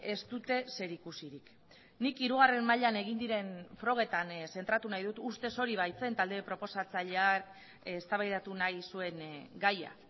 ez dute zerikusirik nik hirugarren mailan egin diren frogetan zentratu nahi dut ustez hori baitzen talde proposatzaileak eztabaidatu nahi zuen gaia